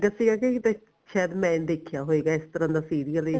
ਲੱਗਿਆ ਸੀਗਾ ਕਿ ਕਿੱਥੇ ਸਾਇਦ ਮੈਂ ਦੇਖਿਆ ਹੋਏਗਾ ਇਸ ਤਰ੍ਹਾਂ ਦਾ serial